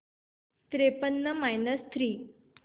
त्रेपन्न minus three